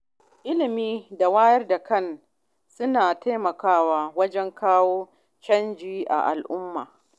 Ilimi da wayar da kai suna taimakawa wajen kawo canji a al’umma.